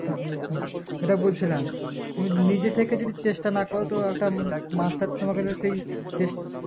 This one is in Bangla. থাম হু যেটা বলছিলাম তুমি নিজেথেকে যদি চেষ্টা না করো তো একটা মাস্টার তোমাকে সেই চেস